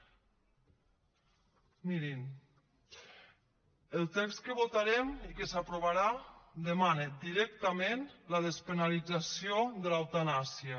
mirin el text que votarem i que s’aprovarà demana directament la despenalització de l’eutanàsia